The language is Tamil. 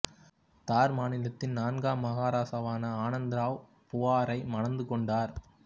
தார் மாநிலத்தின் நான்காம் மகாராசாவான ஆனந்த் ராவ் புவாரை மணந்து கொண்டார்